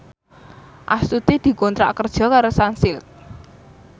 Astuti dikontrak kerja karo Sunsilk